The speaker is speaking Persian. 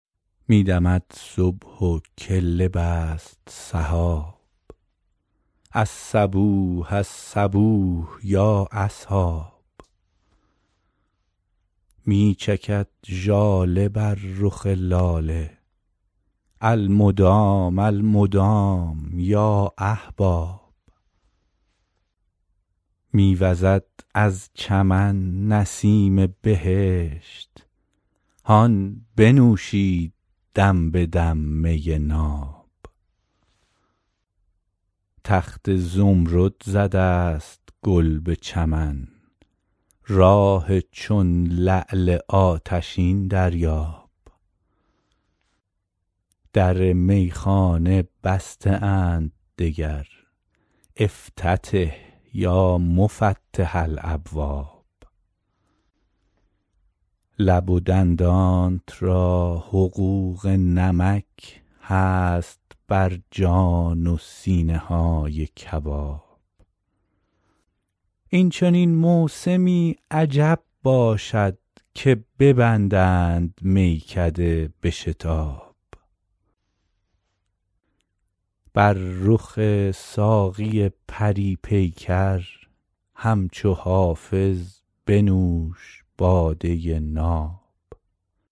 می دمد صبح و کله بست سحاب الصبوح الصبوح یا اصحاب می چکد ژاله بر رخ لاله المدام المدام یا احباب می وزد از چمن نسیم بهشت هان بنوشید دم به دم می ناب تخت زمرد زده است گل به چمن راح چون لعل آتشین دریاب در میخانه بسته اند دگر افتتح یا مفتح الابواب لب و دندانت را حقوق نمک هست بر جان و سینه های کباب این چنین موسمی عجب باشد که ببندند میکده به شتاب بر رخ ساقی پری پیکر همچو حافظ بنوش باده ناب